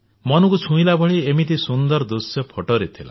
ମନକୁ ଛୁଇଁଲା ଭଳି ଏମିତି ସୁନ୍ଦର ଦୃଶ୍ୟ ଫଟୋରେ ଥିଲା